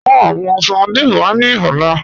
Mú awọn sardine wà ní ọlá